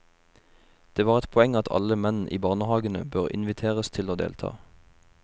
Det var et poeng at alle menn i barnehagene bør inviteres til å delta.